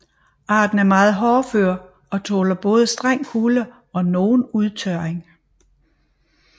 Arten er meget hårdfør og tåler både streng kulde og nogen udtørring